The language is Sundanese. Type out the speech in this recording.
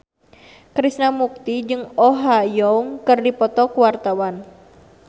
Krishna Mukti jeung Oh Ha Young keur dipoto ku wartawan